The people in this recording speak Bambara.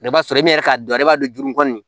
I b'a sɔrɔ e yɛrɛ k'a dɔn e b'a don juru kɔni